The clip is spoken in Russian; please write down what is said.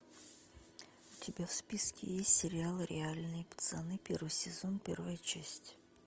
у тебя в списке есть сериал реальные пацаны первый сезон первая часть